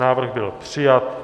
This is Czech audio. Návrh byl přijat.